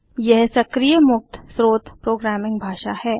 यह सक्रिय मुक्त स्रोत प्रोग्रामिंग भाषा है